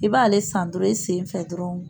I b'ale san dɔrɔn i sen fɛ dɔrɔn